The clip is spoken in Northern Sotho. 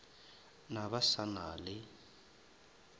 na ba sa na le